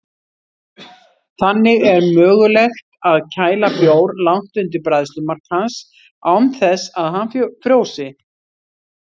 Þannig er mögulegt að kæla bjór langt undir bræðslumark hans án þess að hann frjósi.